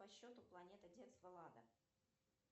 по счету планета детство лада